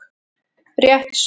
Rétt svör